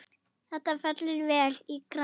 Þetta fellur vel í kramið.